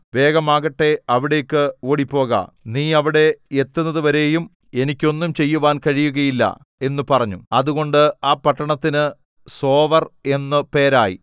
വേഗമാകട്ടെ അവിടേക്ക് ഓടിപ്പോക നീ അവിടെ എത്തുന്നതുവരെയും എനിക്ക് ഒന്നും ചെയ്യുവാൻ കഴിയുകയില്ല എന്നു പറഞ്ഞു അതുകൊണ്ട് ആ പട്ടണത്തിന് സോവർ എന്നു പേരായി